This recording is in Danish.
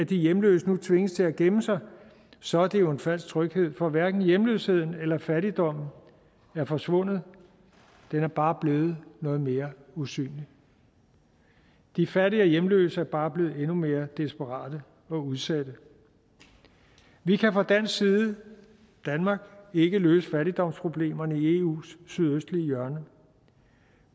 de hjemløse nu tvinges til at gemme sig så er det jo en falsk tryghed for hverken hjemløsheden eller fattigdommen er forsvundet den er bare blevet noget mere usynlig de fattige og hjemløse er bare blevet endnu mere desperate og udsatte vi kan fra dansk side i danmark ikke løse fattigdomsproblemerne i eus sydøstlige hjørne